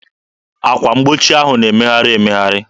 Akwa mgbochi ahụ na-emegharị emegharị.